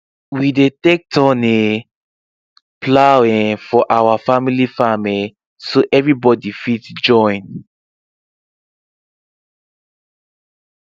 we dey take um turn plow um for our family farm um so everybody fit join